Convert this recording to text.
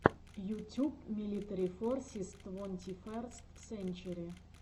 ютюб милитари форсис твонтиферст сенчери